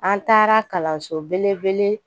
An taara kalanso belebele